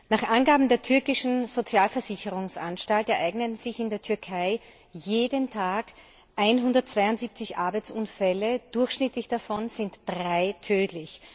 Nach Angabe der türkischen Sozialversicherungsanstalt ereignen sich in der Türkei jeden Tag 172 Arbeitsunfälle, durchschnittlich sind drei davon tödlich.